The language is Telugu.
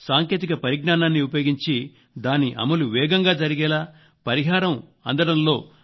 సాంకేతిక పరిజ్ఞానాన్ని ఉపయోగించి దాని అమలు వేగంగా జరిగేలా పరిహారం అందడంలో జాప్యం నివారించేలా చేస్తున్నాము